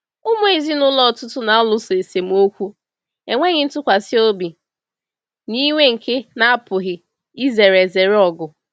Ụmụ ezinụlọ ọtụtụ na-alụso esemokwu, enweghị ntụkwasị obi, na iwe nke na-apụghị izere ezere ọgụ.